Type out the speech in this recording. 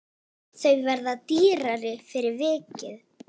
Þau verða dýrari fyrir vikið.